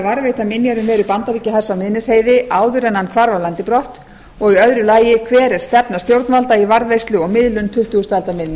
varðveita minjar um veru bandaríkjahers á miðnesheiði áður en hann hvarf af landi brott annar hver er stefna stjórnvalda í varðveislu og miðlun tuttugustu aldar minja